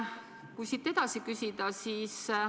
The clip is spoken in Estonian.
Küsin siit edasi.